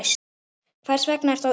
Hvers vegna ertu á Íslandi?